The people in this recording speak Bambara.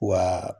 Wa